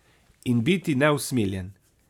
In biti neusmiljen.